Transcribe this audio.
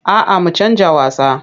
A'a mu canja wasa.